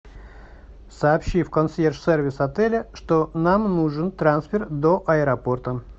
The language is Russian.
сообщи в консьерж сервис отеля что нам нужен трансфер до аэропорта